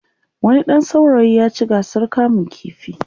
wani ɗan saurayi ya ci gasar kamun ƙifi